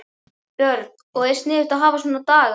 Björn: Og er sniðugt að hafa svona daga?